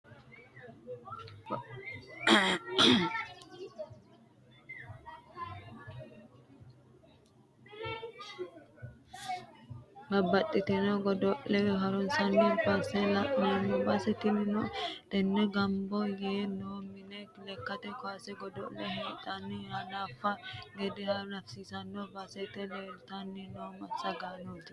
Babbaxxitino godo'le harinsanni base lagame baseti tini tenera gamba yee no manni lekkate kaawase godo'le heedhenna hanafano gede hanafisiisara basete leelite no massagaanoti.